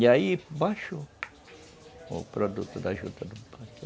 E aí baixou o produto da juta